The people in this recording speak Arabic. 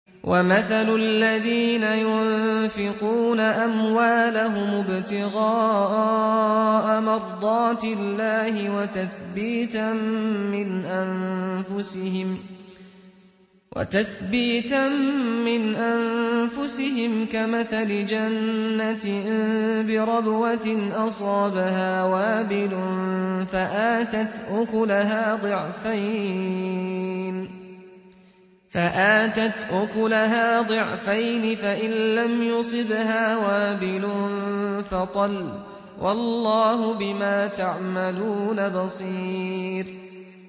وَمَثَلُ الَّذِينَ يُنفِقُونَ أَمْوَالَهُمُ ابْتِغَاءَ مَرْضَاتِ اللَّهِ وَتَثْبِيتًا مِّنْ أَنفُسِهِمْ كَمَثَلِ جَنَّةٍ بِرَبْوَةٍ أَصَابَهَا وَابِلٌ فَآتَتْ أُكُلَهَا ضِعْفَيْنِ فَإِن لَّمْ يُصِبْهَا وَابِلٌ فَطَلٌّ ۗ وَاللَّهُ بِمَا تَعْمَلُونَ بَصِيرٌ